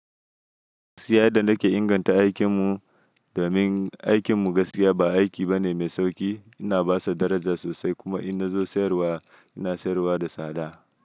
Gaskiya yadda nake inganta aikin mu, domin aikin mu gaskiya ba aiki bane mai sauƙi. Ina basa daraja sosai kuma inna zo sayarwa, ina sayarwa da sada.